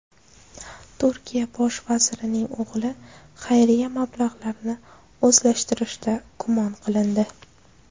Turkiya bosh vazirining o‘g‘li xayriya mablag‘larini o‘zlashtirishda gumon qilindi.